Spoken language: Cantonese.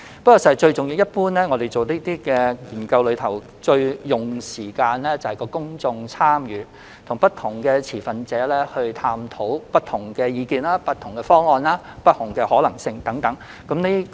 事實上，類似研究最花時間的部分是公眾參與，當中涉及探討不同持份者的不同意見、方案和可能性等。